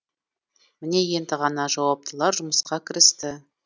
міне енді ғана жауаптылар жұмысқа кірісті